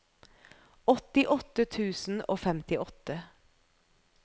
åttiåtte tusen og femtiåtte